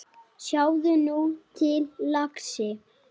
Sjáðu nú til, lagsi.